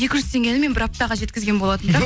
екі жүз теңгені мен бір аптаға жеткізген болатынмын